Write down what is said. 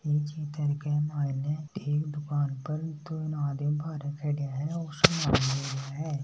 ई चित्र के माइन एक दुकान पर तीन आदमी बार खड़ा है सामन लेरा है।